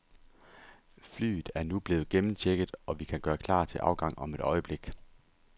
Flyet er nu blevet gennemchecket, og vi kan gøre klar til afgang om et øjeblik.